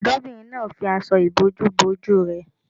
Ọ̀dọ́bìnrin náà fi aṣọ ìbòjú bo ojú rẹ̀